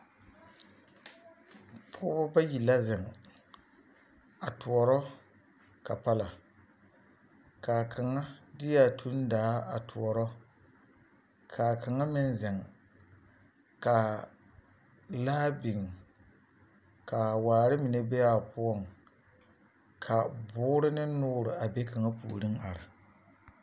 Pɔge bayi la zeŋ a toɔrɔ kapala ka kaŋa de a tundaa a toɔrɔ k,a kaŋa meŋ zeŋ k,a laa biŋ k,a waare mine be a poɔŋ ka boore ne noore a be kaŋa puoriŋ are.